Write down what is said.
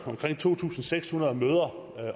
omkring to tusind seks hundrede møder